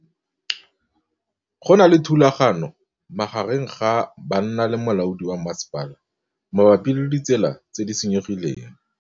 Go na le thulanô magareng ga banna le molaodi wa masepala mabapi le ditsela tse di senyegileng.